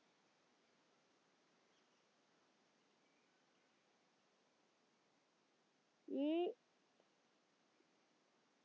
ഈ